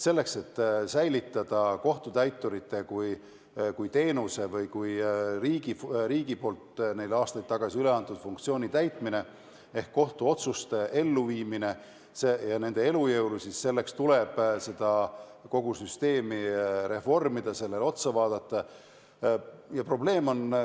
Selleks, et säilitada kohtutäiturite teenuse ehk riigi poolt neile aastaid tagasi üle antud funktsiooni täitmine ehk siis kohtuotsuste elluviimine, selle elujõulisus, tuleb kogu süsteemile otsa vaadata ja seda reformida.